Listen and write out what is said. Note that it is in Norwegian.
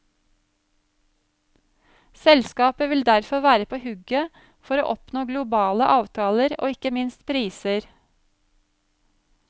Selskapet vil derfor være på hugget for å oppnå globale avtaler og ikke minst priser.